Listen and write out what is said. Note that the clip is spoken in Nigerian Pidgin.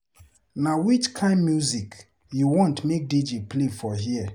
Na which kain music you want make DJ play for here.